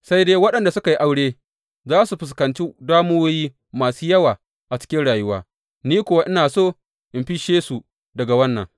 Sai dai waɗanda suka yi aure za su fuskanci damuwoyi masu yawa a cikin rayuwa, ni kuwa ina so in fisshe su daga wannan.